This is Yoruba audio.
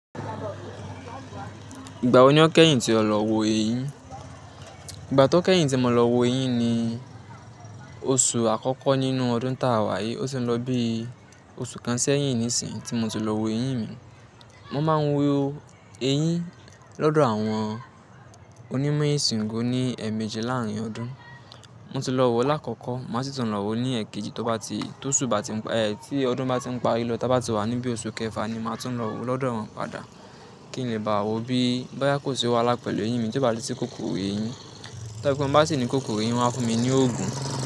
Ìgbà wo ni ó kẹ́yìn tí o lọ wo eyín? Ìgbà tí ó kẹ́yìn tí mo lọ wo eyín ni oṣù àkọ́kọ́ nínú ọdún táa wá yìí. Ó ti ń lọ bí i oṣù kan sẹ́yìn nísìnyìí tí mo ti lọ wo eyín mi. Mo máa ń wo eyín lọ́dọ̀ àwọn onímọ̀ ìsègùn ní ẹẹ̀mejì láàárín ọdún. Mo ti lọ wo láàkọ́kọ́, màá sì tún lọ wo ní èkejì tó bá ti, tó oṣù bá ti, ẹ, tí ọdún bá ti ń parí lọ táa bá ti wà níbi oṣù kẹfà ni màá tún lọ wo lọ́dọ̀ wọn padà kí n lè bá wo bí bóyá kò ṣe wà lá pẹ̀lú eyín mi tió bá ti si kókoro eyín. Tó bá pé mo bá sì ní kókoro eyín, wọ́n á fún mi ní òògùn.